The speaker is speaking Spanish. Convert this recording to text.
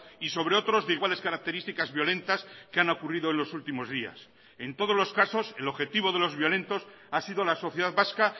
y sobre otros de iguales características violentas que han ocurrido en los últimos días en todos los casos el objetivo de los violentos ha sido la sociedad vasca